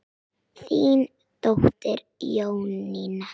Þín dóttir, Jónína.